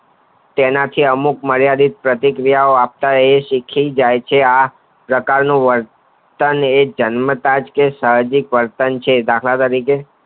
તેનાથી અમુક મર્યાદિત પ્રતિ ક્રિયા ઓ તે આપતા શીખી જાય છે આ પ્રકાર નું વર્તન તે જન્મતા જ સાહસિક વર્તન છે દાખલા તરીકે